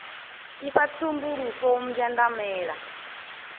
ifa tsumbo lufu u mbwandamela